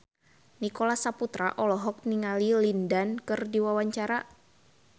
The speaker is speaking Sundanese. Nicholas Saputra olohok ningali Lin Dan keur diwawancara